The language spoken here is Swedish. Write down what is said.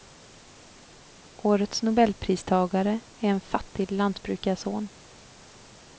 Årets nobelpristagare är en fattig lantbrukarson.